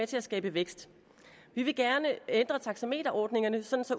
til at skabe vækst vi vil gerne ændre taxameterordningerne så